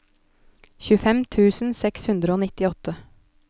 tjuefem tusen seks hundre og nittiåtte